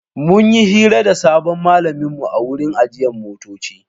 Mun yi hira da sabon malaminmu a wurin ajiyar motoci.